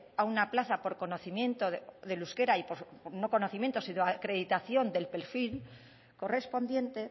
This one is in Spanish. a una plaza por conocimiento del euskera y no conocimiento sino acreditación del perfil correspondiente